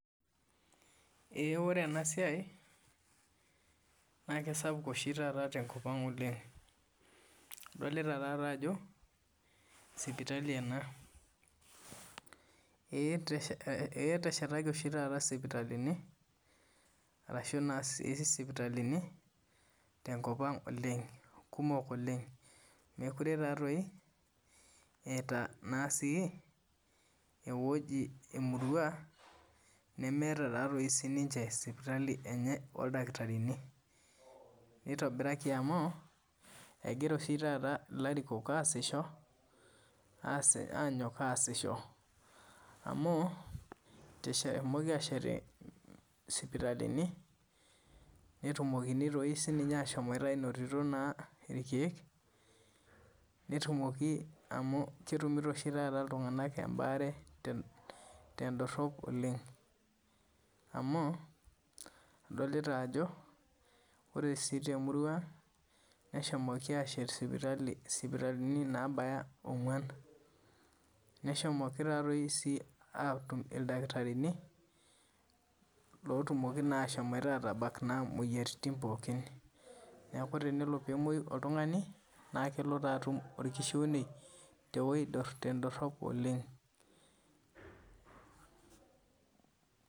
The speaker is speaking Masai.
Ore ena siai naa kisapuk oshi taata tenkop ang oleng adolita taadoi ajo sipitali ena ee etashitaki oshi taata esipitalini tenkop ang kumok oleng meekure etae emurua nemeeta sininche sipitali enye oldakitarii nitobiraki amu egira oshi taata ilarikok anyone asishoree amu ehomoki ashet sipitali netumokini doi sininye ashomoite anototo irkeek amu ketumiyo oshi taata iltung'ana ebare tedorop oleng amu adolita Ajo ore sii temurua ang nehomoki ashet sipitalini nabaya ong'uan neshomoki sii atum ildakitarini atumoki naa ashom atabak moyiaritin pookin neeku tenelo nemoyiei oltung'ani naa kelo atum orkishune tewueji tedorop oleng